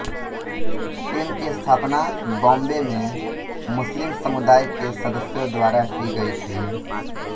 team की स्थापना बॉम्बे में मुस्लिम समुदाय के सदस्यों द्वारा की गई थी